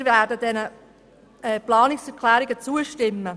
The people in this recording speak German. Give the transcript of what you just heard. Wir werden den Planungserklärungen zustimmen.